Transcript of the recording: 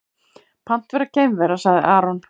Pant vera geimvera, sagði Aron.